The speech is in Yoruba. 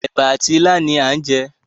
Èbà àti ilá ni à ń jẹ.